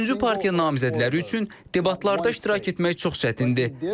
Üçüncü partiya namizədləri üçün debatlarda iştirak etmək çox çətindir.